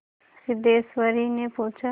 सिद्धेश्वरीने पूछा